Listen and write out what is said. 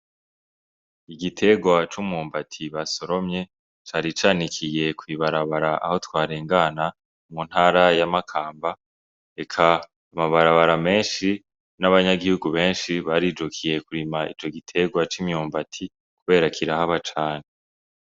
Igitegwa c'umwumbati basoromye cari canikiye kwi barabara aho twarengana mu ntara ya Makamba eka amabarabara menshi n' abanyagihugu benshi barijukiye kurima ico gitegwa c'imyumbati kubera kirahaba cane.